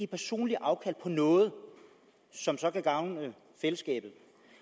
personligt afkald på noget som så kan gavne fællesskabet